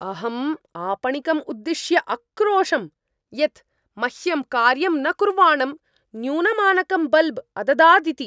अहम् आपणिकम् उद्दिश्य अक्रोशं यत् मह्यं कार्यं न कुर्वाणं न्यूनमानकं बल्ब् अददादिति।